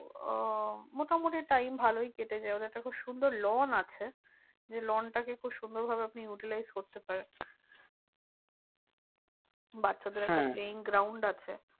ও মোটামুটি time ভালোই কেটে যায় ওর একটা খুব সুন্দর lawn আছে। যে lawn টাকে খুব সুন্দর ভাবে আপনি utilize করতে পারেন। বাচ্চাদের playing ground আছে।